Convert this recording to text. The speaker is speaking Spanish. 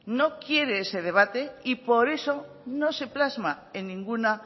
no quiere ese debate y por eso no se plasma en ninguna